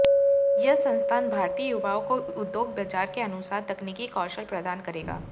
यह संस्थान भारतीय युवाओं को उद्योग बाजार के अनुसार तकनीकी कौशल प्रदान करेगा